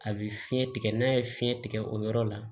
A bɛ fiɲɛ tigɛ n'a ye fiɲɛ tigɛ o yɔrɔ la